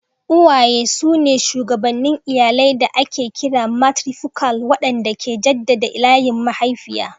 Uwaye su ne shugabannin iyalai da ake kira matrifokal, waɗanda ke jaddada layin mahaifiya.